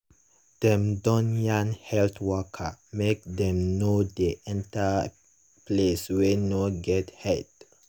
dem don yarn health worker make dem nor dey waka enter place wey nor get head.